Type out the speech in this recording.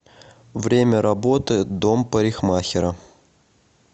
время работы дом парикмахера